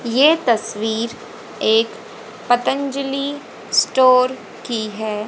ये तस्वीर एक पतंजलि स्टोर की है।